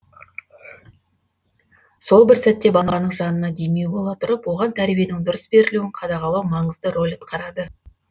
сол бір сәтте баланың жанына демеу бола тұрып оған тәрбиенің дұрыс берілуін қадағалау маңызды рөл атқарады